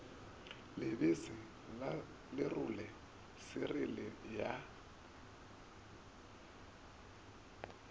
lebese la lerole siriele ya